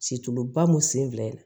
Situluba mun sen fila in